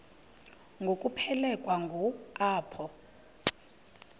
ngokuphelekwa ngu apho